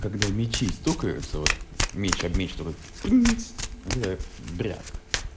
когда мечи стукаются вот мечь об мечь такой пнц вот бряк